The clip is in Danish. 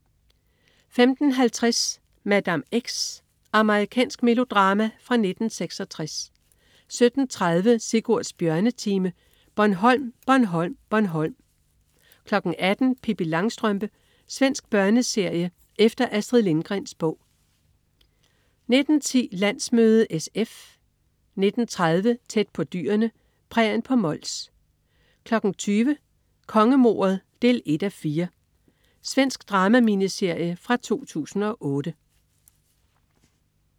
15.50 Madame X. Amerikansk melodrama fra 1966 17.30 Sigurds bjørnetime. Bornholm, Bornholm, Bornholm 18.00 Pippi Langstrømpe. Svensk børneserie efter Astrid Lindgrens bog 19.10 Landsmøde SF 19.30 Tæt på dyrene. Prærien på Mols 20.00 Kongemordet 1:4. Svensk drama-miniserie fra 2008